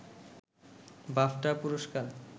BAFTA পুরস্কার